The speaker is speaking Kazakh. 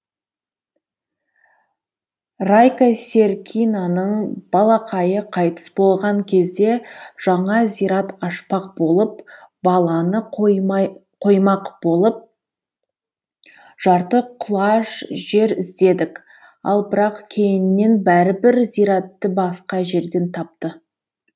райка серкинаның балақайы қайтыс болған кезде жаңа зират ашпақ болып баланы қоймақ болып жарты құлаш жер іздедік ал бірақ кейіннен бәрібір зиратты басқа жерден тапты